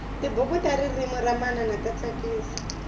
tibuku ta ririmi ra manana ta tsakisa